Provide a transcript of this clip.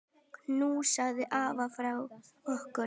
Knúsaðu afa frá okkur.